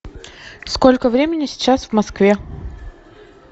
сколько времени сейчас в москве